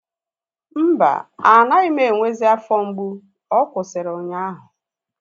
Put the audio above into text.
Mba, anaghị m enwezi afọ mgbu. Ọ kwụsịrị ụnyaahụ